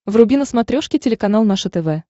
вруби на смотрешке телеканал наше тв